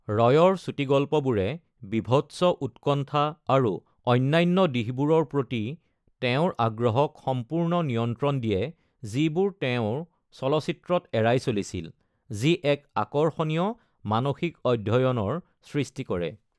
ৰয়ৰ চুটি গল্পবোৰে বীভৎস, উৎকণ্ঠা আৰু অন্যান্য দিশবোৰৰ প্ৰতি তেওঁৰ আগ্ৰহক সম্পূৰ্ণ নিয়ন্ত্ৰণ দিয়ে যিবোৰ তেওঁ চলচ্চিত্ৰত এৰাই চলিছিল, যি এক আকৰ্ষণীয় মানসিক অধ্যয়নৰ সৃষ্টি কৰে।